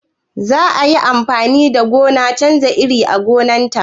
Zata yi amfani da noman canja iri a gonan ta?